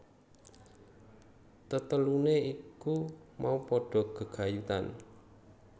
Tetelune iku mau padha gegayutan